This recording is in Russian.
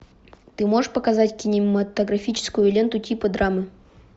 ты можешь показать кинематографическую ленту типа драмы